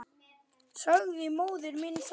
Sagði móður minni það.